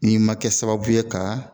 N'i ma kɛ sababu ye ka